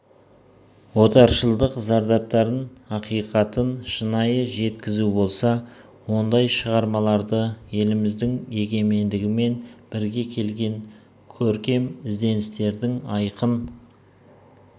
отаршылдық зардаптарын ақиқатын шынайы жеткізу болса ондай шығармаларды еліміздің егемендігімен бірге келген көркем ізденістердің айқын